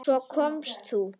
Svo komst þú.